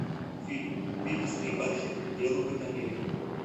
фильм бивис и баттхед уделывают америку